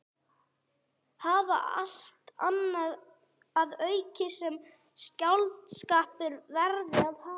Hafa allt annað að auki sem skáldskapur verði að hafa.